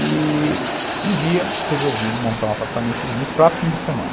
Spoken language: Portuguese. E um dia resolvi montar um apartamentozinho para fim de semana.